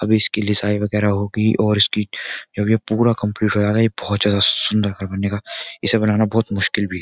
अभी इसकी लिसाई वगैरह होगी और इसकी जब ये पूरा कंप्लीट हो जाएगा ये बहुत ज्यादा सुंदर घर बनेगा इसे बनाना बहुत मुश्किल भी --